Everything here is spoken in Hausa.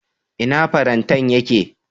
Ina fartanya ya ke?